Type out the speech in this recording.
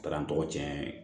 A taara n tɔgɔ cɛn ye